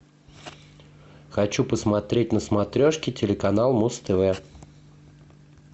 хочу посмотреть на смотрешке телеканал муз тв